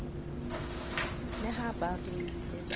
le ha ba ruile ba